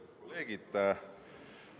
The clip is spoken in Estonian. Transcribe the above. Head kolleegid!